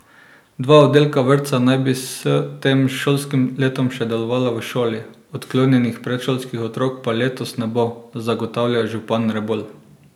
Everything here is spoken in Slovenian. Dva oddelka vrtca naj bi s tem šolskim letom še delovala v šoli, odklonjenih predšolskih otrok pa letos ne bo, zagotavlja župan Rebolj.